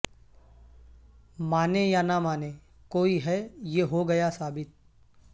مانے یا نہ مانے کوئی ہے یہ ہو گیا ثابت